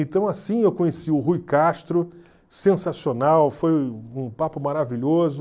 Então assim eu conheci o Rui Castro, sensacional, foi um papo maravilhoso.